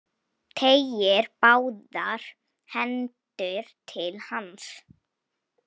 Teygir báðar hendur til hans.